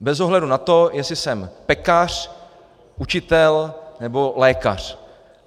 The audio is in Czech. Bez ohledu na to, jestli jsem pekař, učitel nebo lékař.